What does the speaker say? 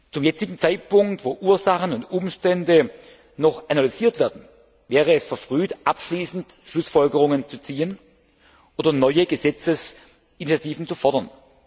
Zum jetzigen Zeitpunkt, wo Ursachen und Umstände noch analysiert werden, wäre es verfrüht, abschließend Schlussfolgerungen zu ziehen oder neue Gesetzesinitiativen zu fordern.